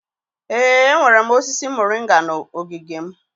Ee, enwere m osisi moringa na ogige m.